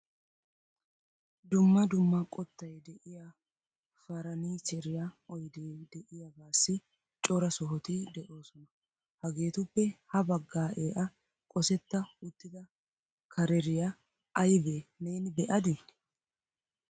Dumma dumma qottay de'iya farannicheriya oyde de'iyaagassi cora sohoti de'oosona. Hegetuppe ha baggaaea qosseta uttida kareriya aybbe neeni be'adi ?